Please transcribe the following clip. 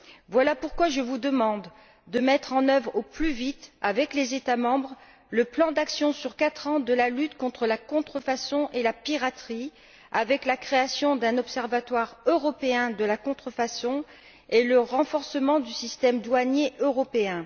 Voilà pourquoi je vous demande de mettre en œuvre au plus vite, avec les États membres, le plan d'action sur quatre ans de la lutte contre la contrefaçon et la piraterie, avec la création d'un observatoire européen de la contrefaçon et le renforcement du système douanier européen.